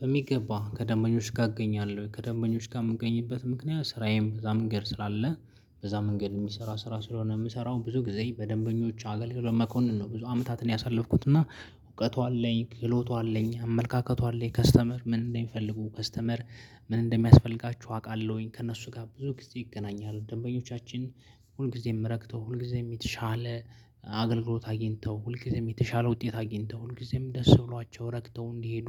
በሚገባ ከደንበኞች ጋር እገኛለሁ ከደንበኞች ጋር የምገኝበት ምክንያት ስራዬም በዛ መንገድ ስላለ በዛ መንገድ የሚሰራ ስራ ስለሆነ የምሰራው ብዙ ጊዜ በደንበኞች አገልግሎት መኮንን ነው። ብዙ አመታትን ያሳለፍኩት እና እውቀቱ አለኝ ክሎቱ አለኝ አመለካከቱ አለኝ። ከስተመር ምን እንደሚፈልጉ ከስተመር ምን እንደሚያስፈልጋቸው አውቃለሁኝ። ከእነሱ ጋር ብዙ ጊዜ ይገናኛል ደንበኞቻችን ሁል ጊዜም ረክተው ሁል ጊዜም የተሻለ አገልግሎት አግኝተው ሁል ጊዜም የተሻለ ውጤት አግኝተው ሁል ጊዜም ደስ ብሏቸው ረክተው እንዲሄዱ